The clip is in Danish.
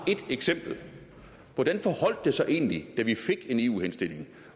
et eksempel hvordan forholdt det sig egentlig da vi fik en eu henstilling